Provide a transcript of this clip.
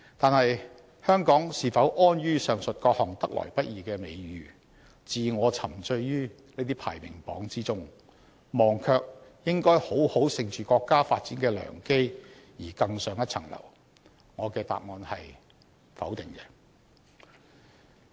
可是，香港是否安於上述各項得來不易的美譽，自我沉醉於這些排名榜之中，忘卻應要好好乘着國家發展的良機，而更上一層樓呢？